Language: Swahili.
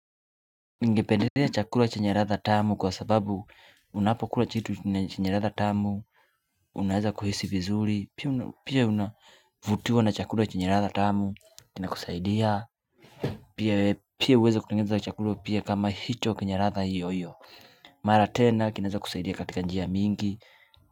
Ningependelea chakula chenye ladha tamu kwa sababu unapokula kitu na chenye ladha tamu Unaeza kuhisi vizuri pia unavutuwa na chakula chenye ladha tamu Kinakusaidia Pia uweze kutengeza chakula pia kama hicho kenye ladha hiyo hiyo Mara tena kinaweza kusaidia katika njia mingi.